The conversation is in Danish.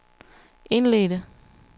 indledte